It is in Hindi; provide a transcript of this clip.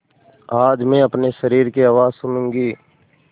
आज मैं अपने शरीर की आवाज़ सुनूँगी